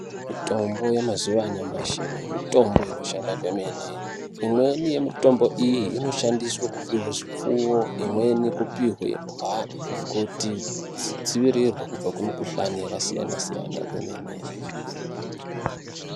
Mitombo yemazuva anyamashi mitombo inoshanda kwemene, imweni yemitombo iyi inoshandiswe kupiwe zvipfuwo imweni kupiwe imbwa kuti dzidzivirirwe kubva kumikhuhlane yakasiyana siyana kwemene.